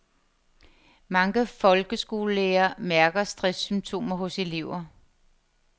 Mange folkeskolelærere mærker stresssymptomer hos elever.